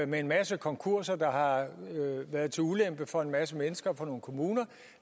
med en masse konkurser der har været til ulempe for en masse mennesker og for nogle kommuner